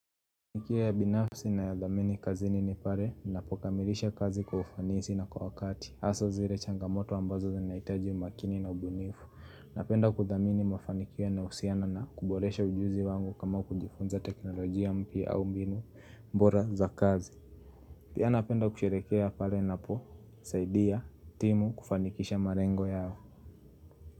Mafanikio ya binafsi na ya dhamini kazini nipale, ninapokamilisha kazi kwa ufanisi na kwa wakati, haso zile changamoto ambazo zinaitaji umakini na ubunifu, napenda kudhamini mafanikia na usiana na kuboresha ujuzi wangu kama kujifunza teknolojia mpia au mbinu mbora za kazi Pia napenda kusherekea pare na po, saidia, timu, kufanikisha marengo yao.